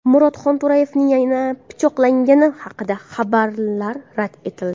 Murod Xonto‘rayevning yana pichoqlangani haqidagi xabarlar rad etildi.